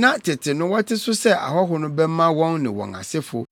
na tete no wɔte so sɛ ahɔho no bɛma wɔn ne wɔn asefo.